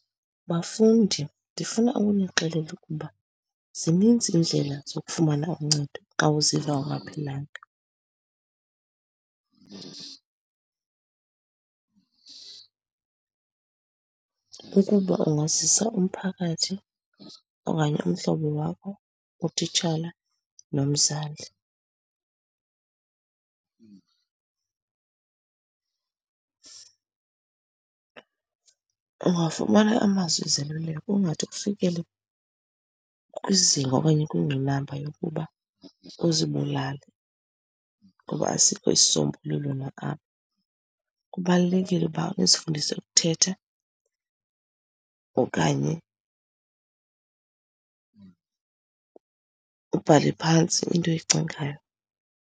Bafundi, ndifuna ukunixelela ukuba zininzi iindlela zokufumana uncedo xa uziva ungaphilanga. Ukuba ungazisa umphakathi okanye umhlobo wakho, utitshala, nomzali ungafumana amazwi ezoluleko kungade kufikele kwizinga okanye kwingqinamba yokuba uzibulale ngoba asikho isisombululo nalapho. Kubalulekile uba nizifundise ukuthetha okanye ubhale phantsi into oyicingayo.